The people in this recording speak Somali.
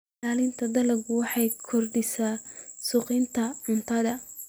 Ilaalinta dalagga waxay kordhisaa sugnaanta cuntada.